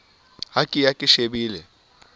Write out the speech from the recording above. ha ke ya ke shebile